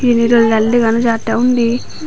TV doldaley dega naw jatte undi.